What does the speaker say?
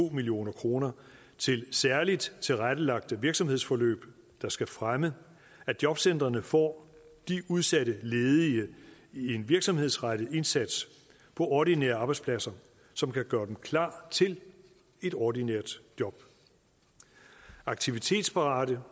million kroner til særligt tilrettelagte virksomhedsforløb der skal fremme at jobcentrene får de udsatte ledige i en virksomhedsrettet indsats på ordinære arbejdspladser som kan gøre dem klar til et ordinært job aktivitetsparate